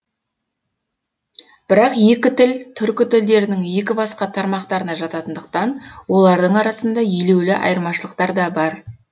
бірақ екі тіл түркі тілдерінің екі басқа тармақтарына жататындықтан олардың арасында елеулі айырмашылықтар да бар